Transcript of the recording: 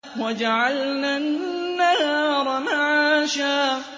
وَجَعَلْنَا النَّهَارَ مَعَاشًا